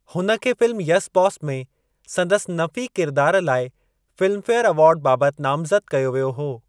हुन खे फ़िल्म 'येस बॉस' में संदसि नफ़ी किरिदार लाइ फ़िल्मफेयरु अवार्ड बाबति नामज़दि कयो वियो हो।